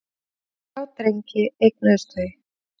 Þrjá drengi eignuðust þau.